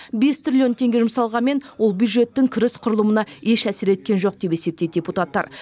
бес триллион теңге жұмсалғанмен ол бюджеттің кіріс құрылымына еш әсер еткен жоқ деп есептейді депутаттар